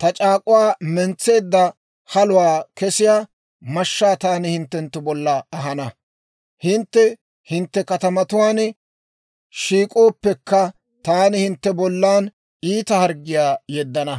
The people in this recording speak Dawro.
Ta c'aak'uwaa mentseedda haluwaa kesiyaa mashshaa taani hintte bolla ahana; hintte hintte katamatuwaan shiik'ooppekka, taani hintte bollan iita harggiyaa yeddana.